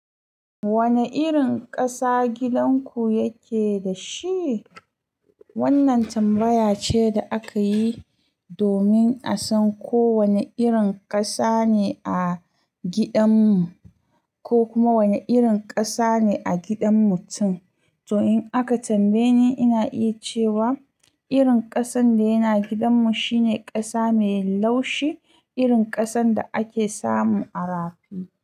Wane irin ƙasa gidan ku yake da shi? Wannan tambaya ce da aka yi domin a san ko wane irin ƙasa ne a gidan mu ko kuma wane irin ƙasa ne a gidan mutum. To in aka tambaye ni, ina iya cewa irin ƙasan da yana gidan mu shine ƙasa mai laushi, irin ƙasan da ake samu a rafi.